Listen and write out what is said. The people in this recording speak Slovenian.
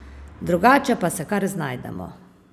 Drugače pa se kar znajdemo.